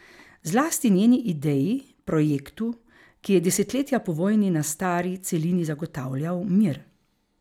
Zlasti njeni ideji, projektu, ki je desetletja po vojni na stari celini zagotavljal mir.